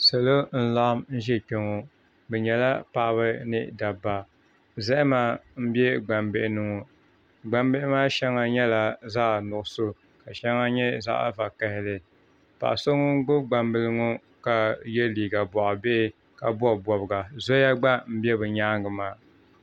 Salo n laɣam ʒɛ kpɛ ŋɔ bi nyɛla paɣaba ni dabba zahama n bɛ gbambihi ni ŋɔ gbambihi maa shɛŋa nyɛla zaɣ nuɣso ka shɛŋa nyɛ zaɣ vakaɣali paɣa so ŋun gbubi gbambili ŋɔ ka yɛ liiga boɣa bihi ka bob bobga zoya gba n bɛ di nyaangi maa